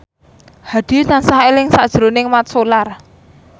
Hadi tansah eling sakjroning Mat Solar